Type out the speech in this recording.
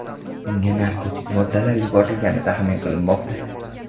Unga narkotik moddalar yuborilgani taxmin qilinmoqda.